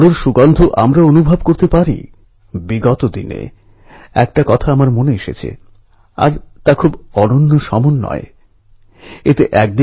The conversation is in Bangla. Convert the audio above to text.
সেই সময়ের দাবীই ছিল ইংরেজের বিরুদ্ধে লড়াইয়ে দেশবাসীকে একজোট করা